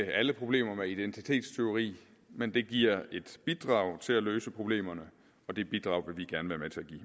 ikke alle problemer med identitetstyveri men det giver et bidrag til at løse problemerne og det bidrag give